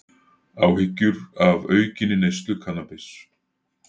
Áhyggjur af aukinni neyslu kannabis